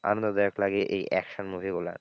আনন্দদায়ক লাগে এই action movie গুলা,